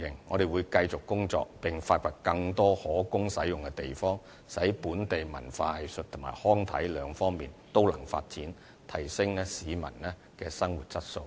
我們會繼續工作，發掘更多可供使用的地方，使本地文化藝術及康體兩方面都得以發展，提升市民的生活質素。